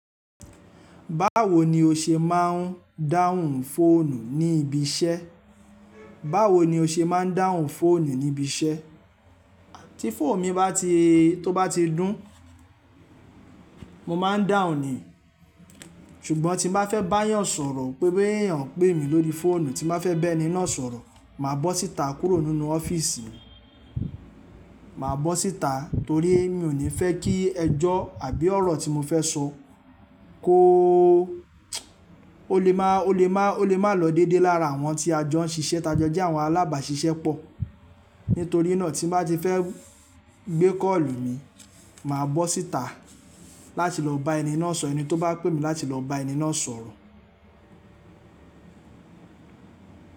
Báwo ni o ṣe máà ń dáhùn fóònù ní ibi iṣẹ́? Báwo ni o ṣe máa ń dáhùn fóònù ní ibi iṣẹ́? Tí fóònù mi bá ti tó bá ti dùn, mo máa ń dáhùn ni. Ṣùgbọ́n tí mo fẹ́ bá èèyàn sọ̀rọ̀ pé boya èèyàn ń pè mi lórí fóònù, tí m bá fẹ́ bá ẹni náà sọ̀rọ̀, màá bọ́ síta kúrò nínú ọ́fíìsì mi. Màá bọ́ síta torí mi ò ní fẹ́ kí ẹjọ́ àbí ọ̀rọ̀ tí mo fẹ́ sọ kó, ó lè máa, ó lè máa, ó lè máa lọ dédé lára àwọn tí a jọ ń ṣiṣẹ́. Tájọ́ọ̀je àwọn alábàáṣiṣẹ́ pọ̀. Nítorí náà tí mo bá ti fẹ́ gbé kọ́ọ̀lù mi, màá bọ́ síta láti lọ bá ẹni náà sọ̀rọ̀. Ẹni tó bá pè mí láti lọ bá ẹni náà sọ̀rọ̀.